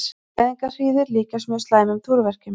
Fæðingarhríðir líkjast mjög slæmum túrverkjum.